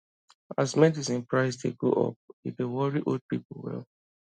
as medicine price dey go up e dey worry old people well